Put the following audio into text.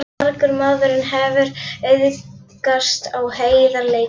Margur maðurinn hefur auðgast á heiðarleika sínum.